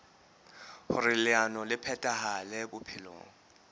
hoer leano le phethahale bophelong